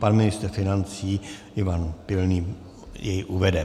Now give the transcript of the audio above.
Pan ministr financí Ivan Pilný jej uvede.